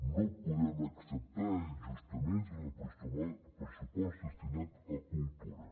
no podem acceptar ajustaments en el pressupost destinat a cultura